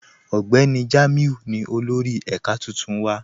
Ọgbẹni Jamiu ni olórì èká tuntun wa.